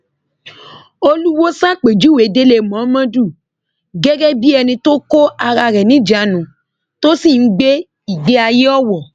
olùwòo ṣàpèjúwe délé mómọdù gẹgẹ bíi ẹni tó kó ara rẹ níjàánu tó sì ń gbé ìgbéayé owó